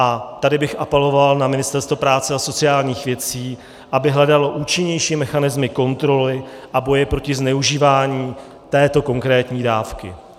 A tady bych apeloval na Ministerstvo práce a sociálních věcí, aby hledalo účinnější mechanismy kontroly a boje proti zneužívání této konkrétní dávky.